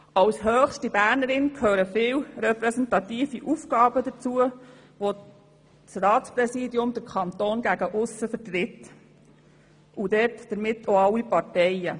Zum Amt der höchsten Bernerin gehören viele repräsentative Aufgaben, bei denen das Ratspräsidium den Kanton und damit auch alle Parteien gegen aussen vertritt.